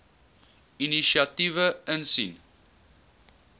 inisiatiewe insien